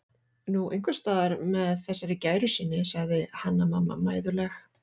Nú, einhvers staðar með þessari gæru sinni, sagði Hanna-Mamma mæðuleg.